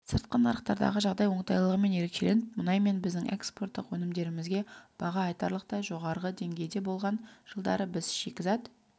сыртқы нарықтардағы жағдай оңтайлылығымен ерекшеленіп мұнай мен біздің экспорттық өнімдерімізге баға айтарлықтай жоғары деңгейде болған жылдары біз шикізат